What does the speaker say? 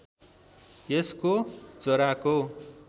यसको जराको